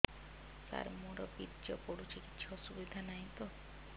ସାର ମୋର ବୀର୍ଯ୍ୟ ପଡୁଛି କିଛି ଅସୁବିଧା ନାହିଁ ତ